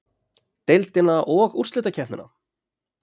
Deildina og úrslitakeppnina?